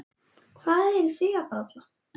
Hvað eruð þið að bralla?